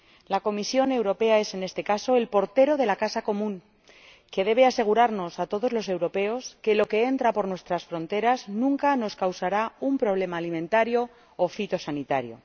La Comisión Europea es, en este caso, el portero de la casa común, que debe asegurarnos a todos los europeos que lo que entra por nuestras fronteras nunca nos causará un problema alimentario o fitosanitario.